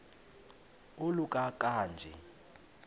oluka ka njl